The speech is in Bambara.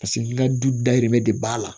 Paseke ka du dayirimɛ de b'a la